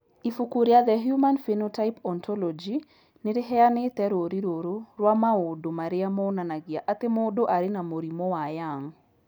Ibuku rĩa The Human Phenotype Ontology nĩ rĩheanĩte rũũri rũrũ rwa maũndũ marĩa monanagia atĩ mũndũ arĩ na mũrimũ wa Young.